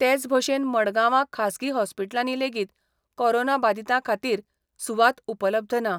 तेच भशेन मडगांवां खाजगी हॉस्पिटलांनी लेगीत कोरोना बादितां खातीर सुवात उपलब्ध ना.